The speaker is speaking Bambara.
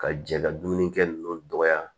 Ka jɛ ka dumunikɛ ninnu dɔgɔya